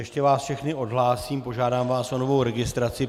Ještě vás všechny odhlásím, požádám vás o novou registraci.